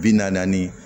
Bi naani